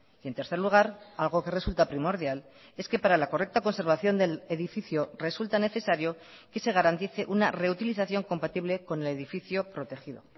y en tercer lugar algo que resulta primordial es que para la correcta conservación del edificio resulta necesario que se garantice una reutilización compatible con el edificio protegido